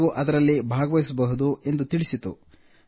ನೀವು ಅದರಲ್ಲಿ ಭಾಗವಹಿಸಬಹುದು ಎಂದು ತಿಳಿಸಿತು